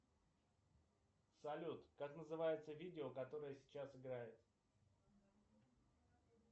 салют как называется видео которое сейчас играет